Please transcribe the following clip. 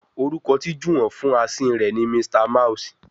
Orúkọ tí Juwon fún Asín rẹ ní Mr mouse.